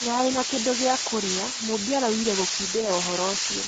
tũtirarĩ na kĩndũ gĩa kũrĩa Mumbi araugire gũkindĩra ũhoro ũcio